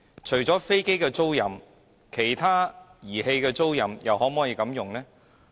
除了飛機租賃外，其他儀器的租賃可否也這樣做呢？